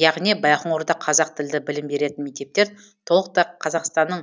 яғни байқоңырда қазақ тілді білім беретін мектептер толықтай қазақстанның